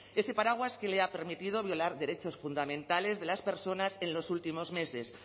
ese paraguas que le ha permitido violar derechos fundamentales de las personas en los últimos meses